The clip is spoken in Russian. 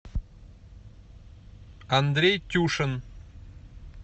андрей тюшин